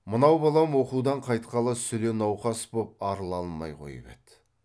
мынау балам оқудан қайтқалы сүле науқас боп арыла алмай қойып еді